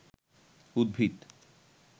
উদ্ভিদ